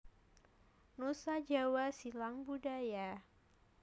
Nusa Jawa Silang Budaya